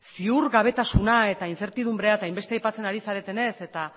ziurgabetasuna eta inzertidunbrea eta hainbeste aipatzen ari zaretenez eta